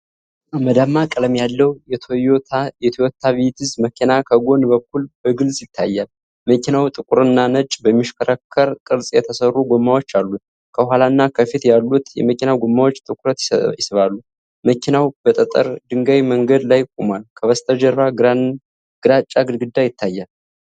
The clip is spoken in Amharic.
አመድማ ቀለም ያለው የቶዮታ ቪትስ መኪና ከጎን በኩል በግልጽ ይታያል። መኪናው ጥቁርና ነጭ በሚሽከረከር ቅርፅ የተሰሩ ጎማዎች አሉት፤ ከኋላና ከፊት ያሉት የመኪና ጎማዎች ትኩረት ይስባሉ። መኪናው በጠጠር ድንጋይ መንገድ ላይ ቆሟል፤ ከበስተጀርባ ግራጫ ግድግዳ ይታያል።